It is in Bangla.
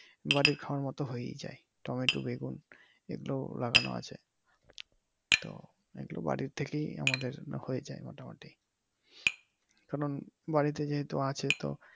বাড়ির খাওয়ার মতো হয়েই যায় টমেটো বেগুন এইগুলো লাগানো আছে তো এইগুলো বাড়ি থেকে আমাদের হয়ে যায় মোটামুটি কারন বাড়িতে যেহেতু আছে।